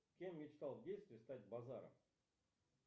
кем мечтал в детстве стать базаров